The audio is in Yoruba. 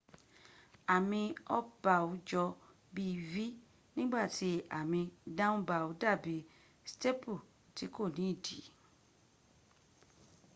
àmì up bow jọ bí v nígbàtí àmì down bow dàbí staple ti kò ní ìdí